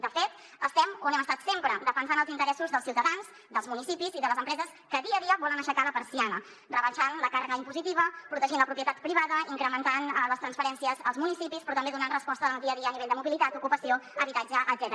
de fet estem on hem estat sempre defensant els interessos dels ciutadans dels municipis i de les empreses que dia a dia volen aixecar la persiana rebaixant la càrrega impositiva protegint la propietat privada i incrementant les transferències als municipis però també donant resposta en el dia a dia a nivell de mobilitat ocupació habitatge etcètera